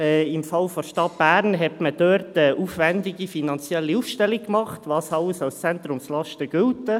Im Fall der Stadt Bern wurde eine aufwendige finanzielle Aufstellung gemacht, was alles als Zentrumslast gilt.